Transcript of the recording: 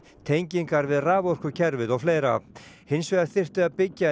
tengingar við raforkukerfið og fleira hinsvegar þyrfti að byggja